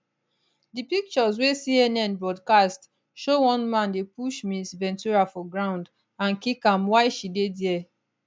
di pictures wey cnn broadcast show one man dey push ms ventura for ground and kick am while she dey dia